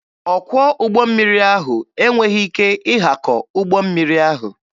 Ọkwọ ụgbọ mmiri ahụ enweghị ike ịhakọ ụgbọ mmiri ahụ.